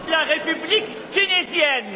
Meine sehr geehrten Damen und Herren,